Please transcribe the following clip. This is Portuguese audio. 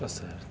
Está certo.